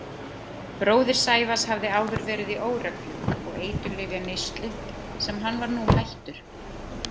Bróðir Sævars hafði áður verið í óreglu og eiturlyfjaneyslu sem hann var nú hættur.